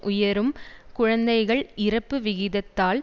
உயரும் குழந்தைகள் இறப்பு விகிதத்தால்